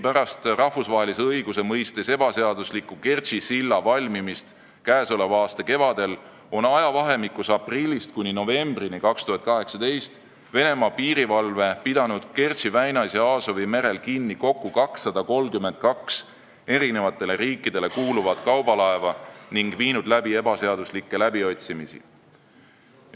Pärast rahvusvahelise õiguse mõistes ebaseadusliku Kertši silla valmimist käesoleva aasta kevadel, ajavahemikus aprillist kuni novembrini 2018 on Venemaa piirivalve pidanud Kertši väinas ja Aasovi merel kinni kokku 232 eri riikidele kuuluvat kaubalaeva ning viinud läbi ebaseaduslikke läbiotsimisi.